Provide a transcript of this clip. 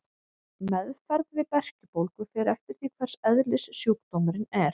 Meðferð við berkjubólgu fer eftir því hvers eðlis sjúkdómurinn er.